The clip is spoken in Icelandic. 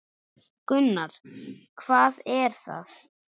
Gunnar: Hvað er það?